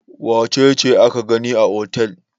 Wace ce aka gani a otel?